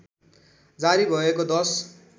जारी भएको १०